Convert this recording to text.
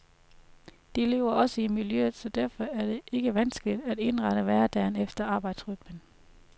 De lever også i miljøet, så derfor er det ikke vanskeligt at indrette hverdagen efter arbejdsrytmen.